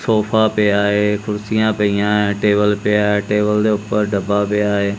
Sofa ਪਿਆ ਹੈ ਕੁਰਸੀਆਂ ਪਈਆਂ ਹੈਂ ਟੇਬਲ ਪਿਆ ਹੈ ਟੇਬਲ ਦੇ ਊਪਰ ਡੱਬਾ ਪਿਆ ਹੈ।